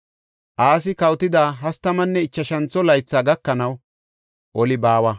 Asi kawotida hastamanne ichashantho laythi gakanaw oli baawa.